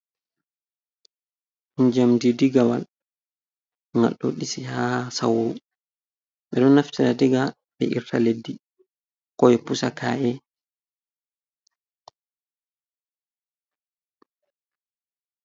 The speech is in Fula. Njamdi digawol ngalɗo ɗisi ha sawru. Ɓe ɗo naftira diga ɓe irta leddi koɓe pusaka’e.